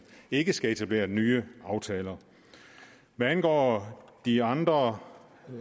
ikke skal etablere nye aftaler hvad angår de andre